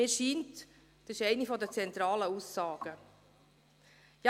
Mir scheint, dass dies eine der Aussagen ist.